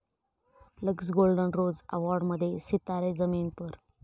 Lux Golden Rose अॅवाॅर्ड'मध्ये सितारे जमी पर!